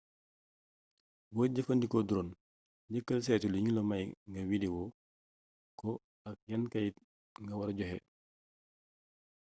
booy jëfandiko drone njëkkal saytu li ñula may nga widewo ko ak yan kayit nga wara joxe